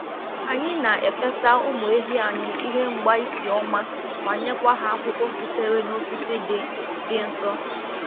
Anyị na-efesa ụmụ ehi anyị ihe mgbaísì ọma ma nyekwa ha akwụkwọ sitere n’osisi dị dị nsọ.